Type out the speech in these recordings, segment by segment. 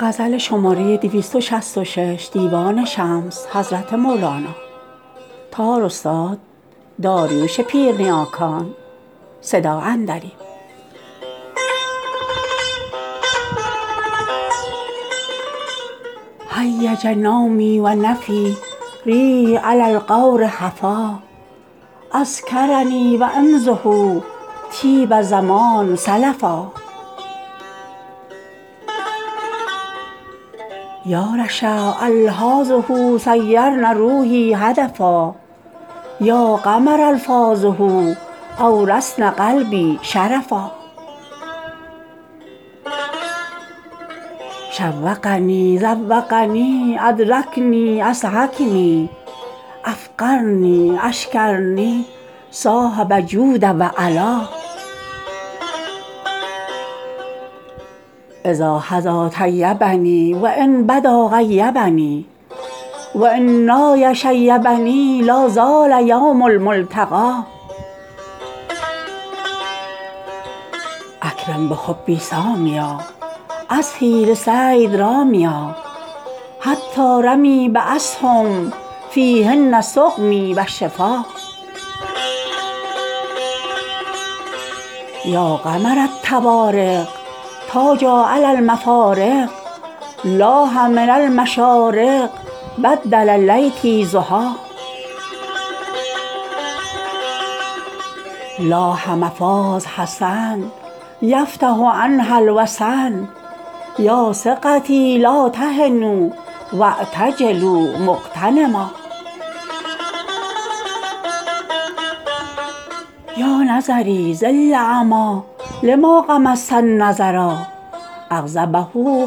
هیج نومی و نفی ریح علی الغور هفا اذکرنی و امضه طیب زمان سلفا یا رشا الحاظه صیرن روحی هدفا یا قمرا الفاظه اورثن قلبی شرفا شوقنی ذوقنی ادرکنی اضحکنی افقرنی اشکرنی صاحب جود و علا اذا حدا طیبنی و ان بدا غیبنی و ان نای شیبنی لا زال یوم الملتقی اکرم بحبی سامیا اضحی لصید رامیا حتی رمی باسهم فیهن سقمی و شفا یا قمر الطوارق تاجا علی المفارق لاح من المشارق بدل لیلتی ضحی لاح مفاز حسن یفتح عنها الوسن یا ثقتی لا تهنوا واعتجلوا مغتنما یا نظری صل لما غمضت عنه النظرا اغضبه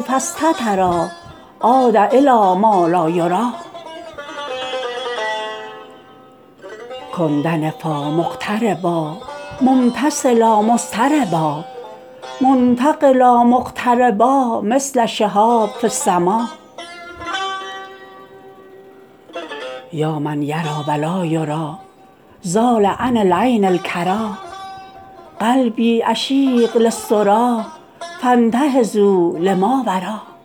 فاستترا عاد الی ما لا یری کن دنفا مقتربا ممتثلا مضطربا منتقلا مغتربا مثل شهاب فی السما یا من یری و لا یری زال عن العین الکری قلبی عشیق للسری فانتهضوا لماورا